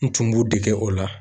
N tun b'u dege o la.